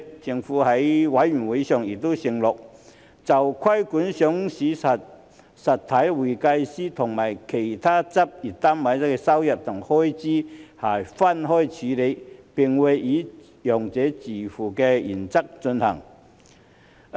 政府在法案委員會上亦承諾，就規管上市實體會計師和其他執業單位的收入和開支會分開處理，並會以"用者自付"原則進行。